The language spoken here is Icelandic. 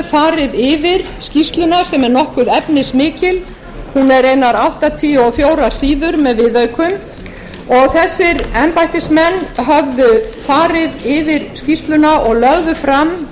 farið yfir skýrsluna sem er nokkuð efnismikil hún er einar áttatíu og fjögur síður með viðaukum og þessir embættismenn höfðu farið yfir skýrsluna og lögðu fram